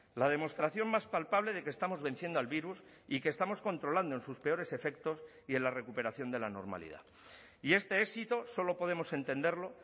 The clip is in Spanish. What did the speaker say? la demostración más palpable de que estamos venciendo al virus y que estamos controlando en sus peores efectos y en la recuperación de la normalidad y este éxito solo podemos entenderlo